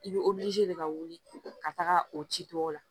I bɛ de ka wuli ka taga o ci tɔw la